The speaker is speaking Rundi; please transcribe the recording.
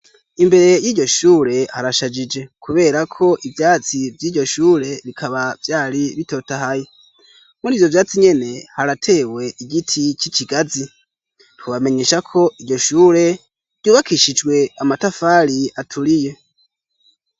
Imbere y'iryo shure harashajije kubera ko ivyatsi vy'iryo shure bikaba vyari bitotahaye; muri ivyo vyatsi nyene haratewe igiti c'ikigazi. Twobamenyesha ko iryo shure ryubakishijwe amatafari aturiye.